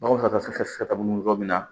Nɔgɔ fɛta be se ka mun yɔrɔ min na